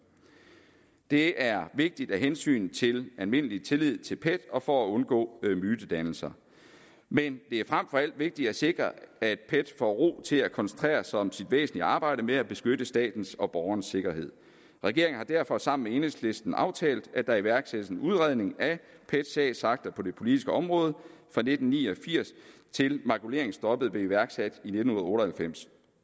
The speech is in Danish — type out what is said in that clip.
det er vigtigt af hensyn til almindelig tillid til pet og for at undgå mytedannelser men det er frem for alt vigtigt at sikre at pet får ro til at koncentrere sig om sit væsentlige arbejde med at beskytte statens og borgernes sikkerhed regeringen har derfor sammen med enhedslisten aftalt at der iværksættes en udredning af pets sagsakter på det politiske område fra nitten ni og firs til makuleringsstoppet blev iværksat i nitten otte og halvfems